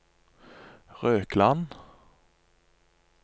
Røkland